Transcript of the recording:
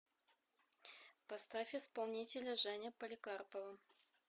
поставь исполнителя женя поликарпова